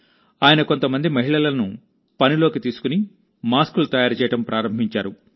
ఆయన కొంతమంది మహిళలను పనిలోకి తీసుకుని మాస్కులు తయారు చేయడం ప్రారంభించారు